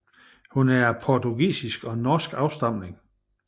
Hun er af portugisisk og norsk afstamning